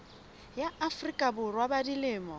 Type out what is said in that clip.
ya afrika borwa ba dilemo